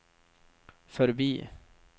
förbi